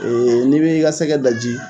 n'i bɛ i ka sɛgɛ daji